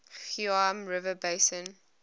geum river basin